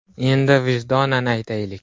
Endi vijdonan aytaylik!